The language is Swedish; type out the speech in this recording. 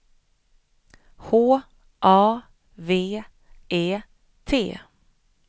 H A V E T